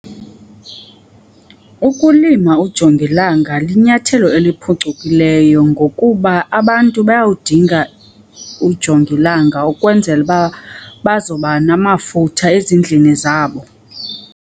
Ukulima ujongilanga linyathelo eliphucukileyo ngokuba abantu bayawudinga ujongilanga ukwenzela uba bazoba namafutha ezindlini zabo.